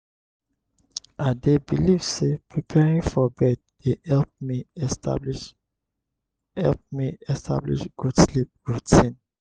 i dey believe say preparing for bed dey help me establish help me establish good sleep routine.